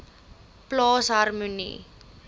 plaas harmonie